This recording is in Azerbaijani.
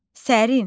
Sərin.